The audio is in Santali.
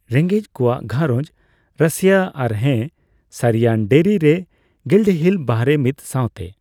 ᱨᱮᱜᱮᱡ ᱠᱚᱣᱟᱜ ᱜᱷᱟᱨᱚᱡᱽ ᱨᱟᱹᱥᱭᱟᱹ ᱟᱨ ᱦᱮᱸ ᱥᱟᱹᱨᱤᱭᱟᱱ ᱰᱮᱨᱤ ᱨᱮ ᱜᱤᱞᱰᱦᱤᱞ ᱵᱟᱦᱚᱨᱮ ᱢᱤᱫ ᱥᱟᱣᱛᱮ